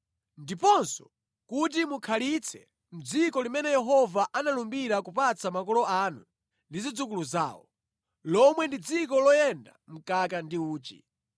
ndiponso kuti mukhalitse mʼdziko limene Yehova analumbira kupatsa makolo anu ndi zidzukulu zawo, lomwe ndi dziko loyenda mkaka ndi uchi.